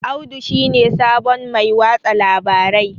Audu shi ne sabon Mai watsa labarai